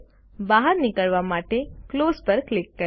બહાર નીકળવા માટે ક્લોઝ પર ક્લિક કરો